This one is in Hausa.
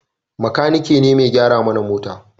Makaniki ne mai gyara mana mota